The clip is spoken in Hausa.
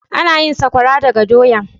Ana yin sakwara daga doya.